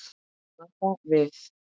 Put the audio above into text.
Kanada við.